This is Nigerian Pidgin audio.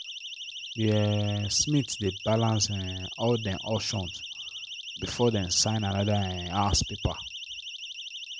the um smith dey balance um all dem options before dem sign another um house paper.